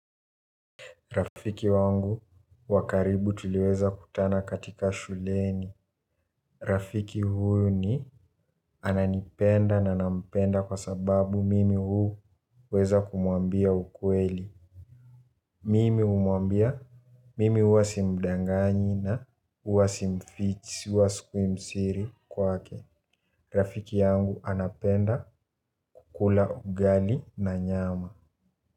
Rafiki wangu wa karibu tuliweza kutana katika shuleni. Rafiki huyu ni ananipenda na nampenda kwa sababu mimi huweza kumwambia ukweli. Mimi humwambia mimi huwa simdanganyi huwa mfichi huwa sikui msiri kwake. Rafiki yangu anapenda kukula ugali na nyama.